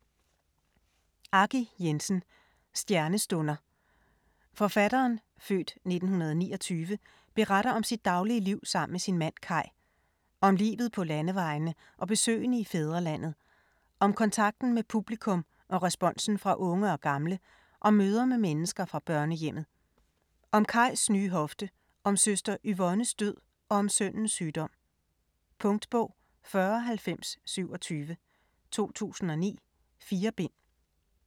Jensen, Aggi: Stjernestunder Forfatteren (f. 1929) beretter om sit daglige liv sammen med sin mand Kai. Om livet på landevejene og besøgene i fædrelandet. Om kontakten med publikum og responsen fra unge og gamle, om møder med mennesker fra børnehjemmet. Om Kais nye hofte, om søster Yvonnes død og om sønnens sygdom. Punktbog 409027 2009. 4 bind.